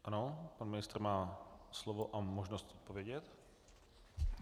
Ano, pan ministr má slovo a možnost odpovědět.